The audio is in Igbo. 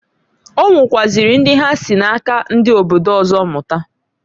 Onwekwaziri ndi ha si na-aka ndi obodo ọzọ mụta.